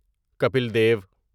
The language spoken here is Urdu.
کپیل دیو